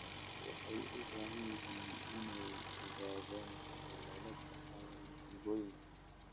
Waxay u baahan yihiin inay ogaadaan sida loola tacaalo masiibooyinka.